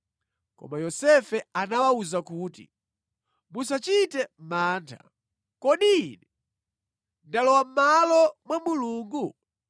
Koma Yosefe anawawuza kuti, “Musachite mantha. Kodi ine ndalowa mʼmalo mwa Mulungu?